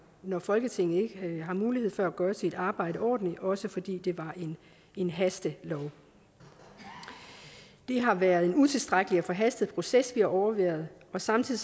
når folketinget ikke har mulighed for at gøre sit arbejde ordentligt også fordi det var en hastelov det har været en utilstrækkelig og forhastet proces vi har overværet og samtidig